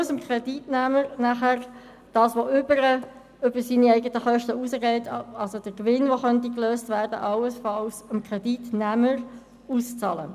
Den Gewinn, den der Pfandleiher dabei erzielt, muss dieser dem Kreditnehmer auszahlen.